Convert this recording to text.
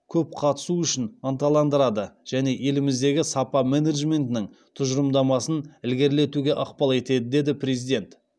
көп қатысу үшін ынталандырады және еліміздегі сапа менеджментінің тұжырымдамасын ілгерілетуге ықпал етеді деді президент